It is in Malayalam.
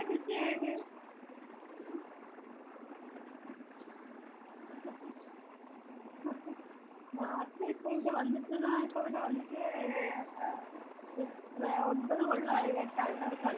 busy ആയത് മ് നാട്ടിൽ ഇപ്പോ ഇവിടെ വന്നിട്ടിതാ ഇപ്പോ ഇവിടെ വന്നിട്ട് യെ എത്ര ഒൻപത് കൊല്ലായി കേട്ടാ ഇവിടെ ഒൻപത് മാസായി ഇവിടെ വന്നിട്ട് ഹും